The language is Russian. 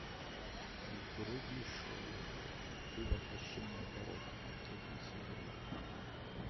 вруби шоу ты воплощение порока третий сезон